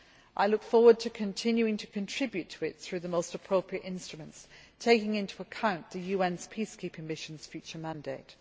I look forward to continuing to contribute to it through the most appropriate instruments, taking into account the UN's peacekeeping mission's future mandate.